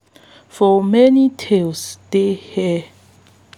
for many tales de hare wey dey cunning dey always outsmart animals wey dey bigger wit clever tricks